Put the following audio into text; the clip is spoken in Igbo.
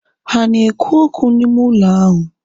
Ha ana ekwu okwu n'ime ụlọ ahu?